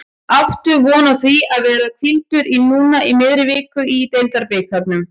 Áttu von á því að vera hvíldur núna í miðri viku í deildabikarnum?